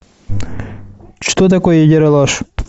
что такое ералаш